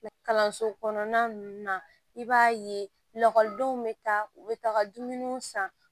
Kalanso kɔnɔna ninnu na i b'a ye lakɔlidenw bɛ taa u bɛ taa ka dumuniw san